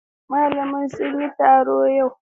Malamai sun yi taro a yau.